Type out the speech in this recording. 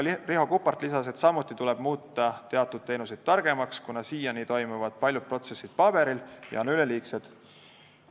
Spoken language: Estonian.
Riho Kuppart lisas, et samuti tuleb muuta teatud teenuseid targemaks, kuna siiani toimuvad paljud protsessid paberil ja on ka üleliigseid protsesse.